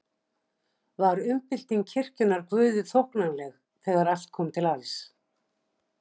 Var umbylting kirkjunnar Guði þóknanleg þegar allt kom til alls?